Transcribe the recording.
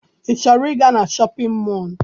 I chọrọ ịga na Shọpịn mọọ?